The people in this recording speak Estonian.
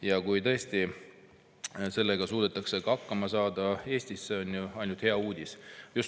Ja kui tõesti sellega suudetakse Eestis ka hakkama saada, siis on see ju ainult hea uudis.